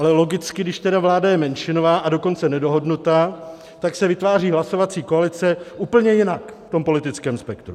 Ale logicky, když tedy vláda je menšinová, a dokonce nedohodnutá, tak se vytváří hlasovací koalice úplně jinak v tom politickém spektru.